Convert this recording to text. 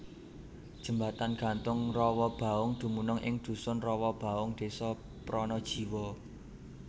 Jembatan gantung Rowobaung dumunung ing Dusun Rowobaung Desa Pranajiwa